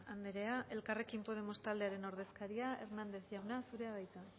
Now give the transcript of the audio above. andrea elkarrekin podemos taldearen ordezkaria hernández jauna zurea da hitza